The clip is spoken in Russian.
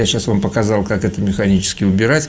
я сейчас вам показал как это механически убирать